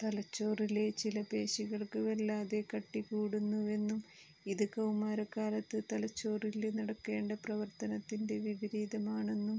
തലച്ചോറിലെ ചില പേശികള്ക്ക് വല്ലാതെ കട്ടി കൂടുന്നുവെന്നും ഇത് കൌമാര കാലത്ത് തലച്ചോറില് നടക്കേണ്ട പ്രവര്ത്തനത്തിന്റെ വിപരീതമാണെന്നും